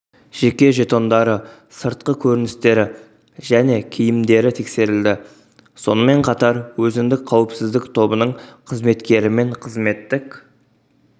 жеке жетондары сыртқы көріністері және киімдері тексерілді сонымен қатар өзіндік қауіпсіздік тобының қызметкерімен қызметтік